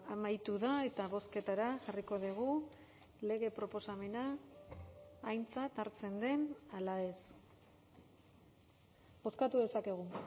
amaitu da eta bozketara jarriko dugu lege proposamena aintzat hartzen den ala ez bozkatu dezakegu